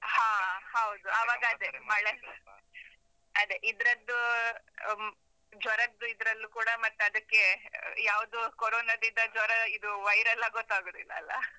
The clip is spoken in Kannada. ಹಾ ಹೌದು, ಆವಾಗ ಅದೇ, ಮಳೆ ಅದೇ, ಇದ್ರದ್ದೂ, ಆಮ್ ಜ್ವರದ್ದು ಇದ್ರಲ್ಲೂ ಕೂಡ ಮತ್ತದಕ್ಕೆ ಯಾವ್ದೂ ಕೊರೊನಾದಿದಾ ಜ್ವರ ಇದು viral ಲ್ಲ ಗೊತ್ತಾಗುದಿಲ್ಲಲ್ಲ?